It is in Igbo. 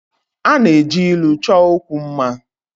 A na-eji ilu chọọ okwu mma